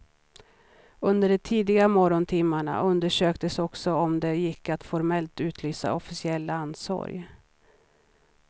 Under de tidiga morgontimmarna undersöktes också om det gick att formellt utlysa officiell landssorg.